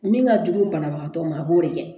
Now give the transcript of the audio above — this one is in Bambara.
Min ka jugu banabagatɔ ma a b'o de kɛ